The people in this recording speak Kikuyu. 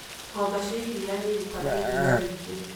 Ng'ombe cia iria nĩ cirutaga iria rĩingĩ.